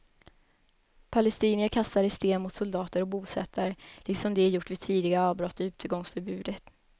Palestinier kastade sten mot soldater och bosättare, liksom de gjort vid tidigare avbrott i utegångsförbudet.